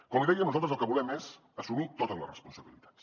com li deia nosaltres el que volem és assumir totes les responsabilitats